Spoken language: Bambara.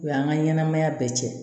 O y'an ka ɲɛnɛmaya bɛɛ cɛ